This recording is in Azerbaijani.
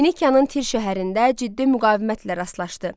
Finikiyanın Tir şəhərində ciddi müqavimətlə rastlaşdı.